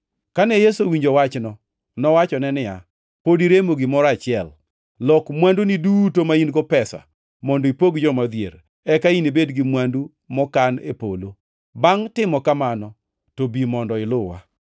Kane Yesu owinjo wachno, nowachone niya, “Pod iremo gimoro achiel. Lok mwanduni duto ma in-go pesa, mondo ipog joma odhier, eka inibed gi mwandu mokan e polo. Bangʼ timo kamano to bi mondo iluwa.”